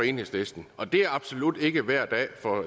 enhedslisten og det er absolut ikke hver dag for